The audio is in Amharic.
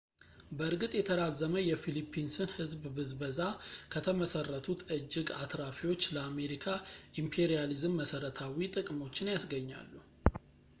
በእርግጥ የተራዘመ የፊሊፒንስን ሕዝብ ብዝበዛ ከተመሠረቱት እጅግ አትራፊዎች ለአሜሪካ ኢምፔሪያሊዝም መሠረታዊ ጥቅሞችን ያስገኛሉ